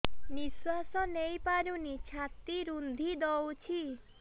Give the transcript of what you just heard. ନିଶ୍ୱାସ ନେଇପାରୁନି ଛାତି ରୁନ୍ଧି ଦଉଛି